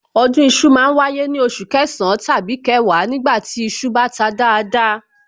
Ọdún iṣu ma ń wáyé ní oṣù kẹsàn-án tàbí kẹwàá nígbà tí iṣu bá ta dáadáa